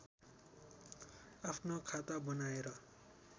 आफ्नो खाता बनाएर